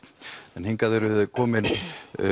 hingað eru þau komin